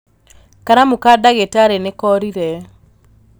Karamu ka ndagītarī nīkorire